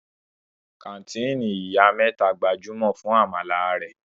Kàńtìnì Ìyá mẹ́ta gbajúmọ̀ fún àmàlà rẹ̀.